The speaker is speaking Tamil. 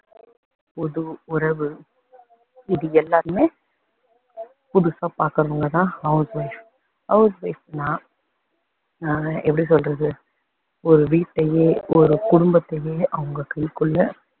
புது உறவு, இது எல்லாமே புதுசா பாக்குறவங்க தான் house wife house wife னா ஆஹ் எப்படி சொல்றது ஒரு வீட்டையே ஒரு குடும்பத்தையே அவங்க கைக்குள்ள,